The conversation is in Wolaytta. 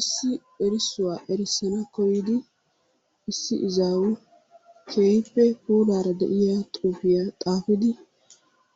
Issi erissuwaa erissana koyidi issi izawu keehippe puulaara de'iya xuufiya xaafidi